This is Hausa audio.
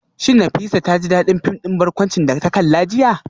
Shin Nafisa ta ji dadin fim din barkwanci da ta kalla jiya?